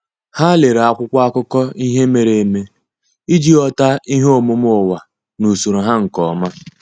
Há lèrè ákwụ́kwọ́ ákụ́kọ́ ihe mere eme iji ghọ́tá ihe omume ụ́wà na usoro ha nke ọma.